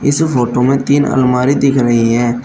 इस फोटो में तीन अलमारी दिख रही है।